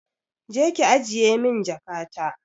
Je ki ajiye min jakata!